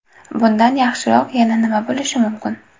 Bundan yaxshiroq yana nima bo‘lishi mumkin?